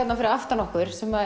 fyrir aftan okkur sem